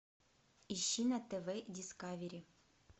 ищи на тв дискавери